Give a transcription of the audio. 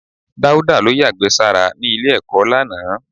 Dauda ló yàgbẹ́ sára ní ilé-ẹ̀kọ́ lánàá.